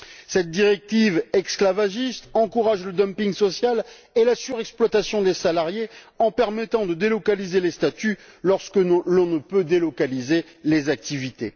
Cette directive esclavagiste encourage le dumping social et la surexploitation des salariés en permettant de délocaliser les statuts lorsque l'on ne peut délocaliser les activités.